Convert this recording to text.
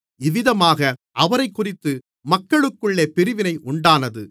இவ்விதமாக அவரைக்குறித்து மக்களுக்குள்ளே பிரிவினை உண்டானது